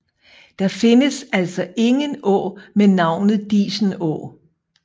Der findes altså ingen å med navnet Disenå